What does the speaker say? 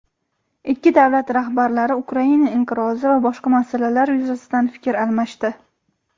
Ikki davlat rahbarlari Ukraina inqirozi va boshqa masalalar yuzasidan fikr almashdi.